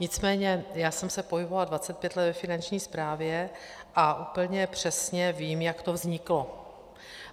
Nicméně já jsem se pohybovala 25 let ve Finanční správě a úplně přesně vím, jak to vzniklo.